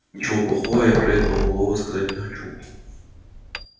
ничего плохого я про этого малого сказать не хочу